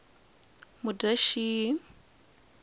mudyaxihi